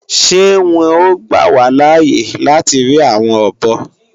Ṣé wọn ó gbà wá láàye láti ri àwọn ọ̀bọ?